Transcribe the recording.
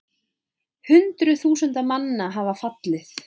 Hundruð þúsunda manna hafa fallið